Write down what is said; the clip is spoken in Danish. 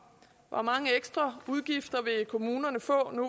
hvor mange ekstra udgifter vil kommunerne få nu